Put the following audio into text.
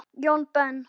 Jón Ben.